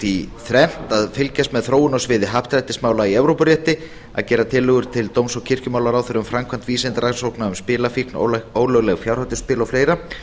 í þrennt að fylgjast með þróun á sviði happdrættismála í evrópurétti að gera tillögur til dóms og kirkjumálaráðherra um framkvæmd vísindarannsókna um spilafíkn ólögleg fjárhættuspil og fleira